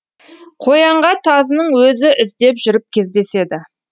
қоянға тазының өзі іздеп жүріп кездеседі